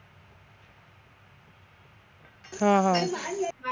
हं हं